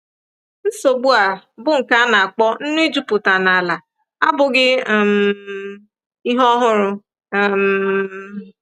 Nsogbu a, bụ́ nke a na-akpọ nnu ijupụta n’ala, abụghị um ihe ọhụrụ. um